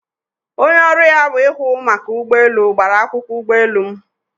Onye ọrụ ya wụ ihụ maka ụgbọ elu gbara akwụkwọ ụgbọ elu m